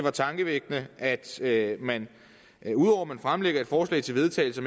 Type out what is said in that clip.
er tankevækkende at at man fremlægger et forslag til vedtagelse